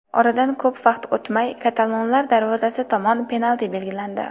Oradan ko‘p vaqt o‘tmay katalonlar darvozasi tomon penalti belgilandi.